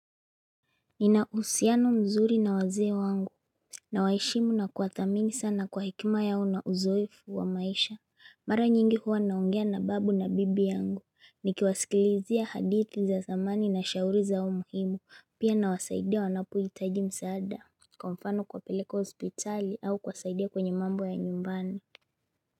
Nina uhusiano mzuri na wazee wangu. Nawaheshimu na kuwathamini sana kwa hekima yao na uzoefu wa maisha. Mara nyingi huwa naongea na babu na bibi yangu. Nikiwasikilizia hadithi za zamani na shauri zao muhimu, pia nawasaidia wanapohitaji msaada. Kwa mfano kuwapeleka hospitali au kuwasaidia kwenye mambo ya nyumbani.